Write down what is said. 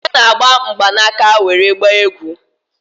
Ude ga-agba mgbanaka nwere gbaa egwu